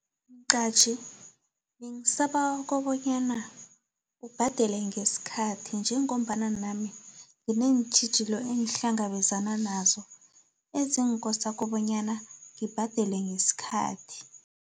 Mqatjhi, bengisabawa konyana, ubhadele ngesikhathi, njengombana nami ngineentjhijilo engihlangabezana nazo, ezinkosa kobonyana ngibhadele ngesikhathi.